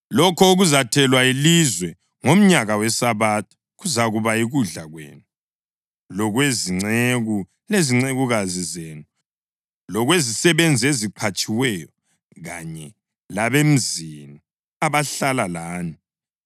Lokho okuzathelwa yilizwe ngomnyaka wesabatha kuzakuba yikudla kwenu, lokwezinceku lezincekukazi zenu, lokwezisebenzi eziqhatshiweyo kanye labemzini abahlala lani,